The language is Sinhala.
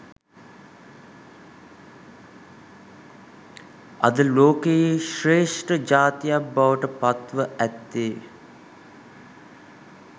අද ලෝකයේ ශ්‍රේෂ්ඨ ජාතියක් බවට පත්ව ඇත්තේ